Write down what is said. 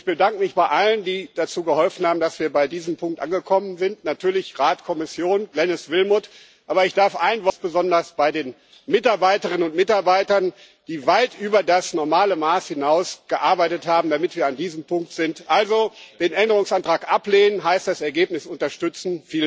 Ich bedanke mich bei allen, die geholfen haben, dass wir an diesem Punkt angekommen sind natürlich Rat, Kommission, Glenis Willmott, aber ganz besonders bei den Mitarbeiterinnen und Mitarbeitern, die weit über das normale Maß hinaus gearbeitet haben, damit wir an diesem Punkt sind. Also Den Änderungsantrag ablehnen heißt, das Ergebnis zu unterstützen.